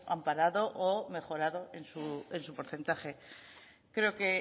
amparado o mejorado en su porcentaje creo que